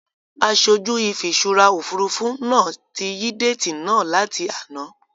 Aṣojú ìfiṣúra Òfurufú náà tí yí déètì náà láti àná.